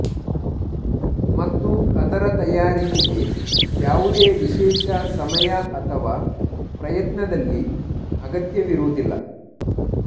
ಮತ್ತು ಅದರ ತಯಾರಿಕೆಗೆ ಯಾವುದೇ ವಿಶೇಷ ಸಮಯ ಅಥವಾ ಪ್ರಯತ್ನದಲ್ಲಿ ಅಗತ್ಯವಿರುವುದಿಲ್ಲ